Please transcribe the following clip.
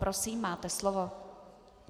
Prosím, máte slovo.